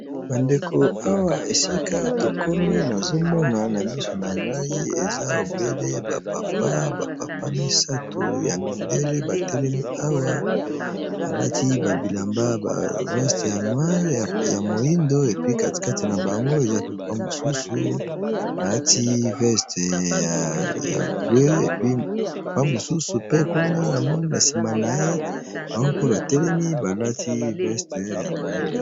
bandeko awa esika tokomi nazomona na miso na ngai eza ebele bapapa bapapa misato ya mindele batelemi awa alati babilamba ba weste ya noire ya moindo epi katikati na bango eza papa mosusu alati veste ya blue apa mosusu pe kuna na moi na nsima na ye bango mpe batelemi balati veste ya moindo